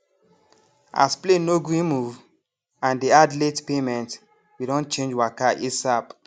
as plane no gree move and dey add late payment we don chnage waka asap